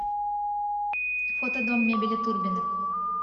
фото дом мебели турбиных